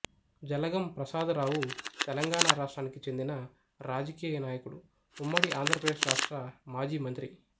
జలగం ప్రసాదరావు తెలంగాణ రాష్ట్రానికి చెందిన రాజకీయ నాయకుడు ఉమ్మడి ఆంధ్రప్రదేశ్ రాష్ట్ర మాజీ మంత్రి